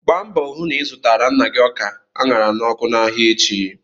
Gbaa mbọ hụ na ị zụtara nna gị ọka a ṅara n'ọkụ n'ahịa echi!